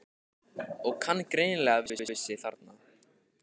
Og kann greinilega vel við sig þarna!